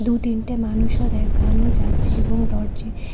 ও তিনটে মানুষও দেখানো যাচ্ছে এবং দরজে --